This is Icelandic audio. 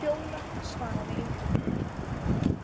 Fjóla svaraði engu.